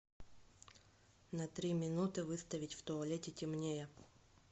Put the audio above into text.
на три минуты выставить в туалете темнее